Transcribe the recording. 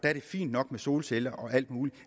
er det fint nok med solceller og alt muligt